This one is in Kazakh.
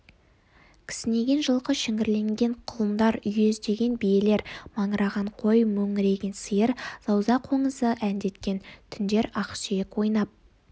кісінеген жылқы шіңгірлеген құлындар үйездеген биелер маңыраған қой мөңіреген сиыр зауза қоңызы әндеткен түндер ақсүйек ойнап